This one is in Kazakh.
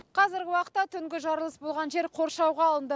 қазіргі уақытта түнгі жарылыс болған жер қоршауға алынды